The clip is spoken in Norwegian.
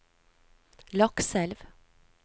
Lakselv